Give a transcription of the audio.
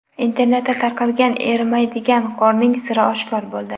Internetda tarqalgan erimaydigan qorning siri oshkor bo‘ldi .